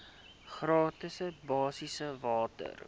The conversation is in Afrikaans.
gratis basiese water